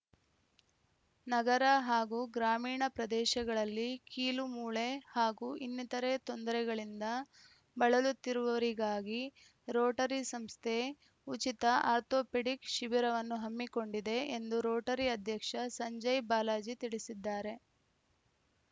ನಗರ ಹಾಗೂ ಗ್ರಾಮೀಣ ಪ್ರದೇಶಗಳಲ್ಲಿ ಕೀಲುಮೂಳೆ ಹಾಗೂ ಇನ್ನಿತರೆ ತೊಂದರೆಗಳಿಂದ ಬಳಲುತ್ತಿರುವವರಿಗಾಗಿ ರೋಟರಿ ಸಂಸ್ಥೆ ಉಚಿತ ಆರ್ಥೊಪೆಡಿಕ್‌ ಶಿಬಿರವನ್ನು ಹಮ್ಮಿಕೊಂಡಿದೆ ಎಂದು ರೋಟರಿ ಅಧ್ಯಕ್ಷ ಸಂಜಯ್‌ ಬಾಲಾಜಿ ತಿಳಿಸಿದ್ದಾರೆ